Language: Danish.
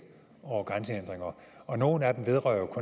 over grænsehindringer og nogle af dem vedrører jo